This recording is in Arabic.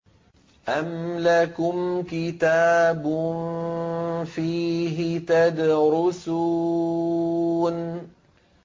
أَمْ لَكُمْ كِتَابٌ فِيهِ تَدْرُسُونَ